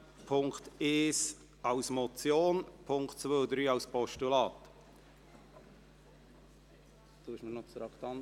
Sie haben den Punkt 2 dieser Motion abgelehnt, mit 43 Ja- gegen 109 Nein-Stimmen bei 1 Enthaltung.